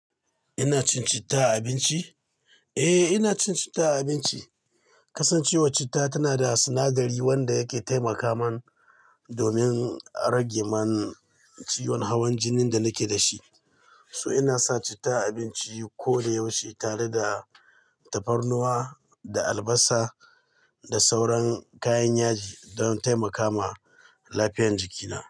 Ina cin citta a abinci? Eh, ina cin citta a abinci. Kasancewar citta tana da sinadari wanda yake taimaka man domin a rage man ciwon hawan jinin da nake da shi. To ina sa citta a abinci ko da yaushe tare da tafarnuwa da albasa da sauran kayan yaji don taimaka ma lafiyan jikina.